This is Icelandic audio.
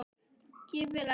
Gylfi elti.